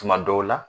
Tuma dɔw la